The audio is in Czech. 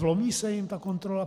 Vlomí se jim ta kontrola?